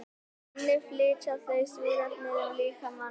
þannig flytja þau súrefnis um líkamann